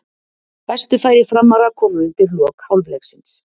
Bestu færi Framara komu undir lok hálfleiksins.